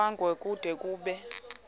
kwango kude kube